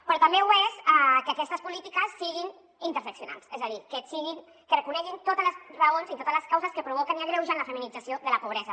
però també ho és que aquestes polítiques siguin interseccionals és a dir que re·coneguin totes les raons i totes les causes que provoquen i agreugen la feminització de la pobresa